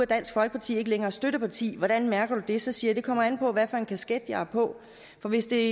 dansk folkeparti ikke længere støtteparti hvordan mærker du det så siger jeg det kommer an på hvad for en kasket jeg har på for hvis det